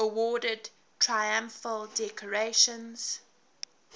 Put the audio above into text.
awarded triumphal decorations